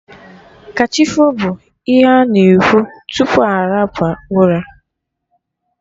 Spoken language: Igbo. Kachifo' bụ ihe ana ekwu tupu anaba ụra